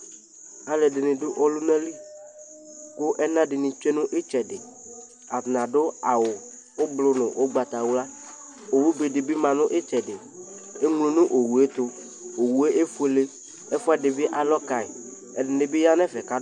alʋɛdini dʋ ɔlʋna li kʋ ɛna dini twɛnʋ itsɛdi, atani adʋ awʋ ɔblɔ nʋ ɔgbatawla, ɔwʋ bɛ dibi manʋ itsɛdi ɛmlɔ nʋ ɔwʋɛ ɛtʋ, ɔwʋɛ ɛƒʋɛlɛ, ɛƒʋɛdi bi alɔ kayi, ɛdini bi yanʋ ɛƒɛ